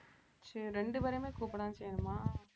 சரி ரெண்டு பேரையுமே கூப்படத்தான் செய்யணுமா